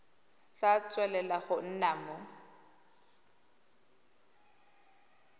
tla tswelela go nna mo